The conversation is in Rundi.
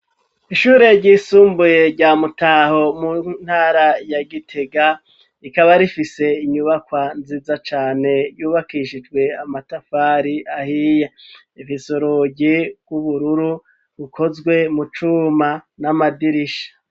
Ishure ryisumbuye rya Mutaho mu ntara ya Gitega rikaba rifise inyubakwa nziza cane yubakishijwe amatafari ahiye asize irangi rw'ubururu rukozwe mu cuma n'amadirisha.